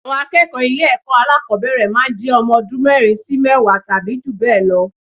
Àwọn akẹ́kọ̀ọ ilé ẹ̀kọ́ alákọ̀ọ́bẹ̀rẹ̀ máa ń jẹ́ ọmọ ọdún mẹ́rin sí mẹ́wàá tàbí jù bẹ́ẹ̀ lọ